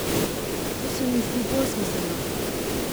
To se mi zdi bolj smiselno.